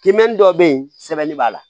Kimɛnni dɔ bɛ yen sɛbɛnni b'a la